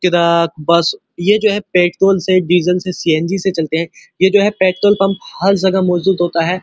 Truck bus ये जो है पेट्रोल से डीजल से सी_एन_जी से चलते हैं। ये जो पेट्रोल पंप हर जगह मौजूद होता है।